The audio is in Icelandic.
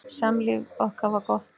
Samlíf okkar var gott.